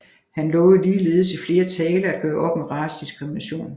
Han lovede ligeledes i flere taler at gøre op med racediskrimination